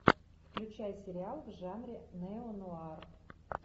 включай сериал в жанре неонуар